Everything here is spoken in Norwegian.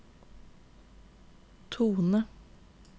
tone